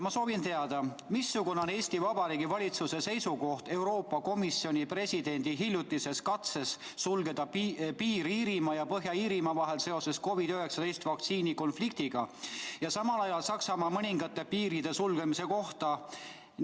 Ma soovin teada, missugune on Eesti Vabariigi valitsuse seisukoht Euroopa Komisjoni presidendi hiljutise katse suhtes sulgeda piir Iirimaa ja Põhja-Iirimaa vahel seoses COVID-19 vaktsiini konfliktiga ja samal ajal Saksamaa mõningate piiride sulgemise kohta.